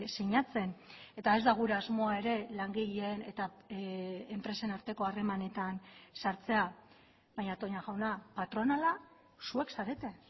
sinatzen eta ez da gure asmoa ere langileen eta enpresen arteko harremanetan sartzea baina toña jauna patronala zuek zarete